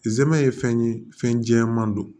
Zɛmɛ ye fɛn ye fɛn jɛman don